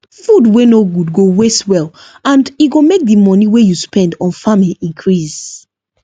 food wey no good go waste well and e go make the money wey you spend on farming increase